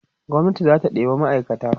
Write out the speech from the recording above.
gwamnati zata ɗeba ma'aikata